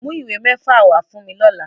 Mu iwe mefa wa fun mi lọla!